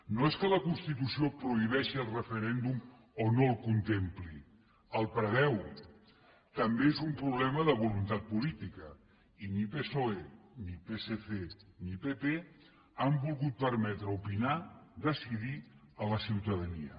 no és que la constitució prohibeixi el referèndum o no el contempli el preveu també és un problema de voluntat política i ni psoe ni psc ni pp han volgut permetre opinar decidir a la ciutadania